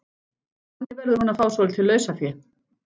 Þannig verður hún að fá svolítið lausafé.